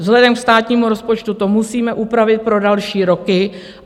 Vzhledem ke státnímu rozpočtu to musíme upravit pro další roky.